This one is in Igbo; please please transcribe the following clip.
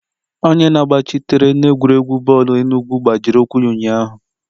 Onye na-agbachitere n'egwuregwu bọọlụ enugwu gbajiri ụkwụ ya ụnyahụ.